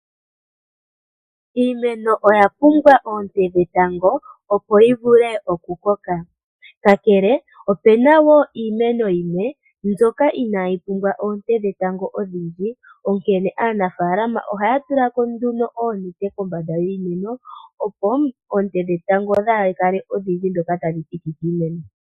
Iimeno oya pumbwa oonte dhetango, opo yi vule okukoka. Kakele kwaa shika, opu na wo iimeno yimwe mbyoka inayi pumbwa oonte dhetango odhindji, onkene aanafaalama ohaya tula ko nduno oonete kombanda yiimeno mbika, opo oonte dhetango dhaa kale odhindji ndhoka tadhi thiki kiimeno.